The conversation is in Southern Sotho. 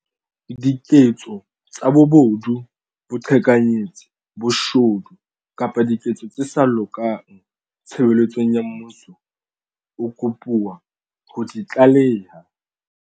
diketso tsa bobodu, boqhekanyetsi, boshodu kapa diketso tse sa lokang tshebeletsong ya mmuso, o kopuwa ho di tlaleha.